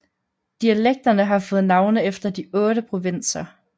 Dialekterne har fået navne efter de otte provinser